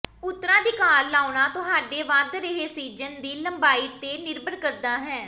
ਉਤਰਾਧਿਕਾਰ ਲਾਉਣਾ ਤੁਹਾਡੇ ਵਧ ਰਹੇ ਸੀਜ਼ਨ ਦੀ ਲੰਬਾਈ ਤੇ ਨਿਰਭਰ ਕਰਦਾ ਹੈ